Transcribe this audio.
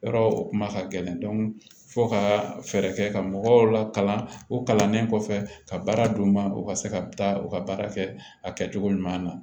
Yɔrɔ o kuma ka gɛlɛn fo ka fɛɛrɛ kɛ ka mɔgɔw lakana o kalanlen kɔfɛ ka baara d'u ma u ka se ka taa u ka baara kɛ a kɛcogo ɲuman na